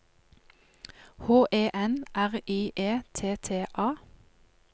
H E N R I E T T A